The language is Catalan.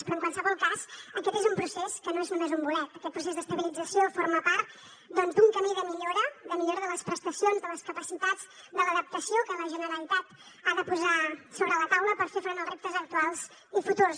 però en qualsevol cas aquest és un procés que no és només un bolet aquest procés d’estabilització forma part doncs d’un camí de millora de millora de les prestacions de les capacitats de l’adaptació que la generalitat ha de posar sobre la taula per fer front als reptes actuals i futurs